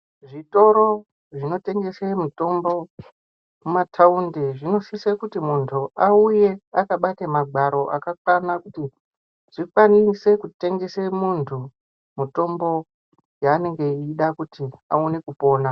Zvitoro zvinotengese mitombo mumataunti munosise kuti muntu auye akabata magwaro akakwana kuti dzikwanise kutengese muntu mitombo yaanenge eida kuti awane kupona.